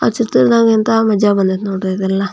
ಆ ಚಿತ್ರದಗಿಂತಾ ಮಜಾ ಬಂದೈತೆ ಎಲ್ಲ.